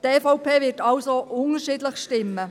Die EVP wird also unterschiedlich stimmen.